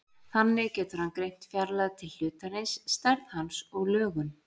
Þannig getur hann greint fjarlægð til hlutarins, stærð hans og lögun.